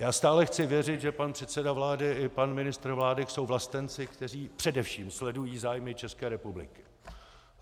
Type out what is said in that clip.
Já stále chci věřit, že pan předseda vlády i pan ministr vlády jsou vlastenci, kteří především sledují zájmy České republiky.